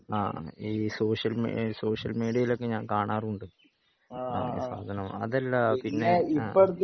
ആഹ് ഈ സോഷ്യൽ മി സോഷ്യൽ മീഡിയയിൽ ഒക്കെ ഞാൻ കാണാറുണ്ട് ആ സാധനം അതല്ല പിന്നെ ആഹ്